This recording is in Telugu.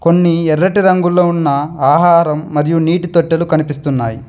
కొన్ని ఎర్రటి రంగులో ఉన్న ఆహారం మరియు నీటి తొట్టెలు కనిపిస్తున్నాయి.